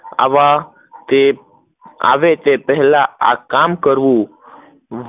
આવ તે આવે તે પેહલા આ કામ કરવું